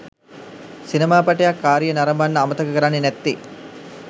සිනමාපටයක් කාරිය නරඹන්න අමතක කරන්නේ නැත්තේ